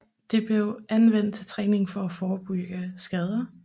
Det blev anvendt til træning for at forebygge skader